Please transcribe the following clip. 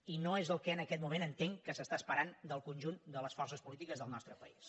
i no és el que en aquest moment entenc que s’està esperant del conjunt de les forces polítiques del nostre país